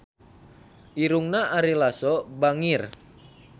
Irungna Ari Lasso bangir